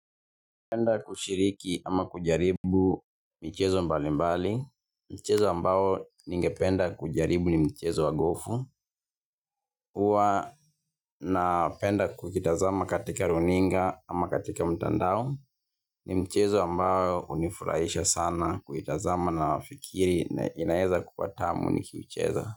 Napenda kushiriki ama kujaribu michezo mbali mbali, mchezo ambao ningependa kujaribu ni mchezo wa gofu, huwa napenda kukitazama katika runinga ama katika mtandao, ni mchezo ambao hunifurahisha sana kuitazama na wafikiri na inaeza kuwa tamu nikiicheza.